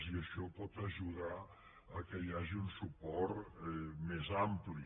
i això pot ajudar que hi hagi un suport més ampli